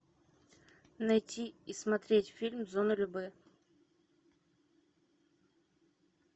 найти и смотреть фильм зона любэ